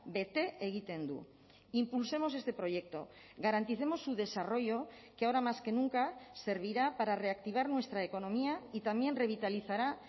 bete egiten du impulsemos este proyecto garanticemos su desarrollo que ahora más que nunca servirá para reactivar nuestra economía y también revitalizará